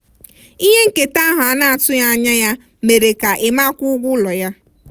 ihe nketa ahụ a na-atụghị anya ya mere ka emma kwụọ ụgwọ ụlọ ya.